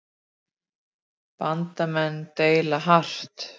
Bandamenn deila hart